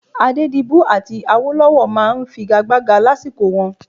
Adédibú àti Awólọ́wọ̀ máa ń figagbága lásìkò wọn